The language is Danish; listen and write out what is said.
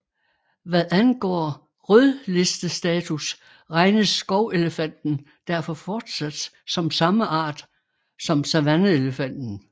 Hvad angår rødlistestatus regnes skovelefanten derfor fortsat som samme art som savanneelefanten